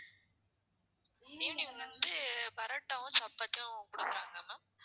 evening வந்து பரோட்டாவும், chapathi யும் குடுப்பாங்க ma'am